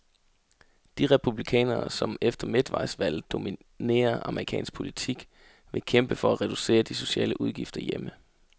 De republikanere, som efter midtvejsvalget dominerer amerikansk politik, vil kæmpe for at reducere de sociale udgifter hjemme.